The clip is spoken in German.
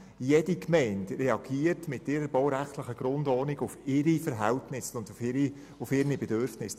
Jede Gemeinde reagiert mit ihrer baurechtlichen Grundordnung auf ihre Verhältnisse und auf ihre Bedürfnisse.